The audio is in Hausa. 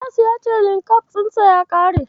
Ilyasu ya ce Linkabs ɗinsa ya ƙare.